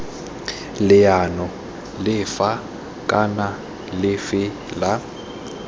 leano lefe kana lefe la